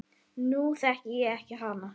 Nú þekki ég ekki hann